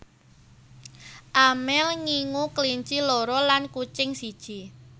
Amel ngingu kelinci loro lan kucing siji